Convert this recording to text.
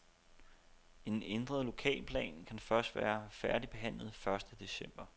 En ændret lokalplan kan først være færdigbehandlet første december.